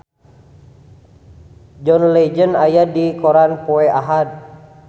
John Legend aya dina koran poe Ahad